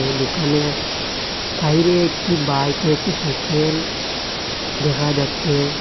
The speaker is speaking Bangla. দোকানের বাইরে একটি বাইক ও একটি সাইকেল দেখা যাচ্চে।